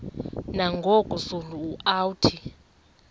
nangoku zulu uauthi